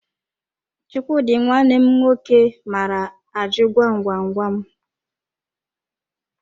Chukwudi nwanne m nwoke maara ajụ gwam gwam gwam